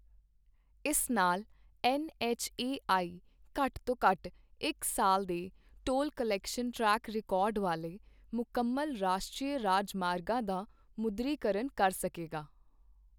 ਇਸ ਨਾਲ N H A I ਘੱਟ ਤੋਂ ਘੱਟ ਇੱਕ ਸਾਲ ਦੇ ਟੋਲ ਕਲੈਕਸ਼ਨ ਟ੍ਰੈਕ ਰਿਕਾਰਡ ਵਾਲੇ ਮੁਕੰਮਲ ਰਾਸ਼ਟਰੀ ਰਾਜਮਾਰਗਾਂ ਦਾ ਮੁਦਰੀ-ਕਰਨ ਕਰ ਸਕੇਗਾ।